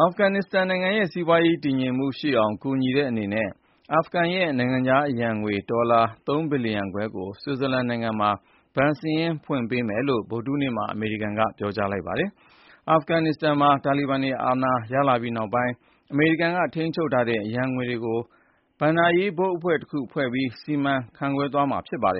အာဖဂန် နစ္စတန်နိုင်ငံရဲ့စီးပွားရေး တည်ငြိမ်မှုရှိအောင် ကူညီတဲ့အနေနဲ့ အာဖဂန်ရဲ့ နိုင်ငံခြားအရန်ငွေ ဒေါ်လာ ၃ ဘီလီယံခွဲကို ဆွစ်ဇာလန်နိုင်ငံမှာ ဘဏ်စာရင်းဖွင့်ပေးမယ်လို့ ဗုဒ္ဓဟူးနေ့မှာ အမေရိကန်က ပြောကြားလိုက်ပါတယ်။ အာဖဂနစ္စတန်မှာ တာလီဘန်တွေ အာဏာရပြီးနောက်ပိုင်း အမေရိကန်က ထိန်းချုပ်ထားတဲ့ အရန်ငွေတွေကိုတော့ ဘဏ္ဍာရေးဘုတ်အဖွဲ့တခု ဖွဲ့စည်းပြီး စီမံခန့်ခွဲ သွားမှာပါ။